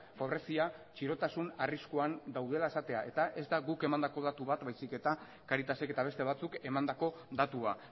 pobrezia txirotasun arriskuan daudela esatea eta ez da guk emandako datu bat baizik eta caritasek eta beste batzuk emandako datua